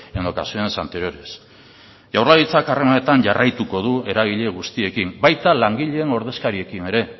en ocasiones anteriores jaurlaritzak harremanetan jarraituko du eragile guztiekin baita langileen ordezkariekin ere